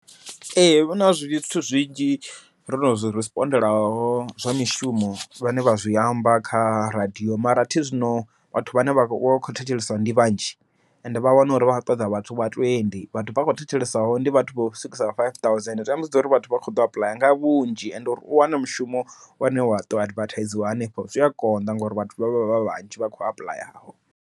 Ee huna zwithu zwinzhi ndo no zwi respond laho zwa mishumo zwine vha zwi amba kha radiyo, mara athi zwino vhathu vhane vha vha kho thetshelesa ndi vhanzhi, ende vha wana uri vha khou ṱoḓa vhathu vha twendi, vhathu vha kho thetshelesaho ndi vhathu vho swikisa vha five thousand. Zwamba zwori vhathu vha kho ḓo apuḽaya nga vhunzhi, ende uri u wane mushumo une waḓo advertise wa hanefho zwi a konḓa ngori vhathu vhavha vhanzhi vha kho apuḽayaho.